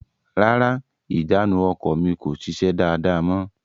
Rárá, ìjánu ọkọ̀ mi kò sise dáàda mọ.